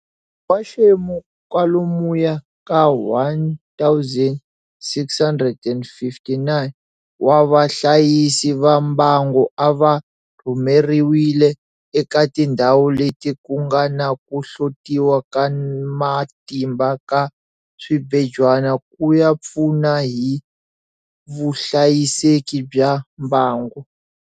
N'waxemu kwalomuya ka 1 659 wa vahlayisi va mbango a va rhumeriwile eka tindhawu leti ku nga na ku hlotiwa ka ma timba ka swibejwana ku ya pfu na hi vuhlayiseki bya mbango.